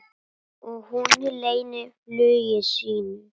Og hún leynir flugi sínu.